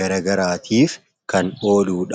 garaagaraatiif kan ooludha.